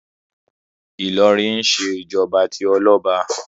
Ìlọrin ń ṣe ìjọba tí ọlọ́ba